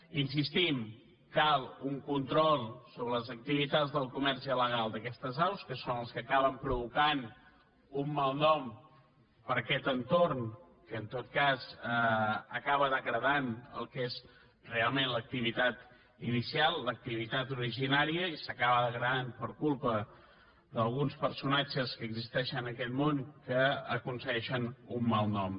hi insistim cal un control sobre les activitats del comerç il·legal d’aquestes aus que són els que acaben provocant un mal nom per a aquest entorn que en tot cas acaba degradant el que és realment l’activitat inicial l’activitat originària i s’acaba degradant per culpa d’alguns personatges que existeixen en aquest món que aconsegueixen un mal nom